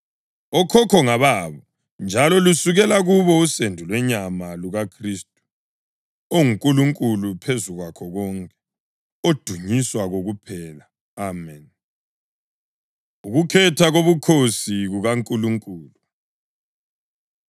Okhokho ngababo, njalo lusukela kubo usendo lwenyama lukaKhristu, onguNkulunkulu ophezu kwakho konke, odunyiswa kokuphela! Ameni. Ukukhetha Kobukhosi KukaNkulunkulu